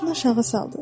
Başını aşağı saldı.